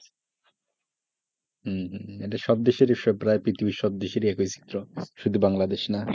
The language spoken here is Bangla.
হম হম এটা সব দেশেরি প্রায় পৃথিবীর সব দেশের accuracy চল, শুধু বাংলাদেশেই নয়,